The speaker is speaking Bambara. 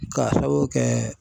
K'a sababu kɛ